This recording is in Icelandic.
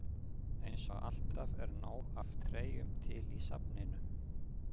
Eins og alltaf er nóg af treyjum til í safninu.